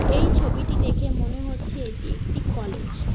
এই ছবিটি দেখে মনে হচ্ছে এটি একটি কলেজ ।